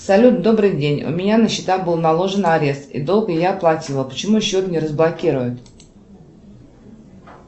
салют добрый день у меня на счета был наложен арест и долг я оплатила почему счет не разблокируют